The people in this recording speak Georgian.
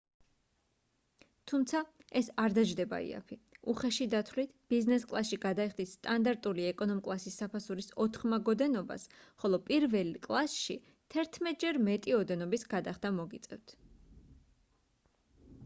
თუმცა ეს არ დაჯდება იაფი უხეში დათვლით ბიზნეს კლასში გადაიხდით სტანდარტული ეკონომ-კლასის საფასურის ოთხმაგ ოდენობას ხოლო პირველ კლასში თერთმეტჯერ მეტი ოდენობის გადახდა მოგიწევთ